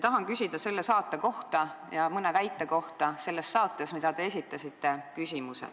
Tahan küsida selle saate kohta ja mõne väite kohta, mida te selles saates esitasite.